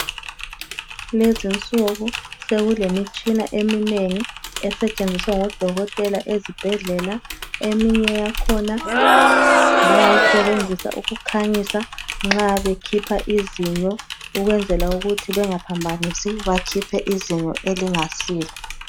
Kulezinsuku sekule mitshina eminengi esetshenziswa ngodokotela ezibhedlela eminye yakhona bayayisebenzisa ukukhanyisa nxa bekhipha izinyo ukwenzela ukuthi bengaphambanisi bakhiphe izinyo elingasilo.